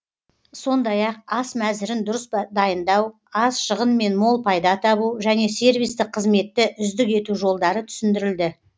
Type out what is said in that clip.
сондай ақ ас мәзірін дұрыс дайындау аз шығынмен мол пайда табу және сервистік қызметті үздік ету жолдары түсіндірілді